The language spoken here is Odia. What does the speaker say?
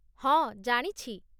ହଁ, ଜାଣିଛି ।